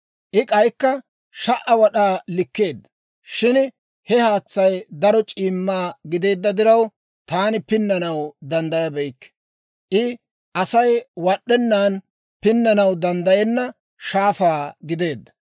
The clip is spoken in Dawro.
I k'aykka 1,000 wad'aa likkeedda. Shin he haatsay daro c'iimma gideedda diraw, taani pinnanaw danddayabeykke; I Asay wad'd'ennan pinnanaw danddayenna shaafaa gideedda.